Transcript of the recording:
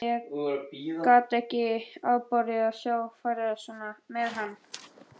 Ég gat ekki afborið að sjá farið svona með hann.